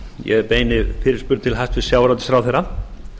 ég beini fyrirspurn til hæstvirts sjávarútvegsráðherra